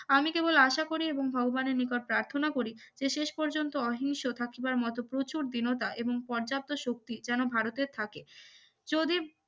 আমি কেবল আশা করি এবং ভগবানের নিকট প্রার্থনা করি যে শেষ পর্যন্ত অহিংস থাকিবার মত প্রচুর দীনতা এবং পর্যাপ্ত শক্তি যেন ভারতের থাকে যদি